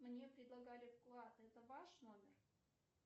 мне предлагали вклад это ваш номер